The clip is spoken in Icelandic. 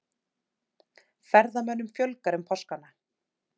Ferðamönnum fjölgar um páskana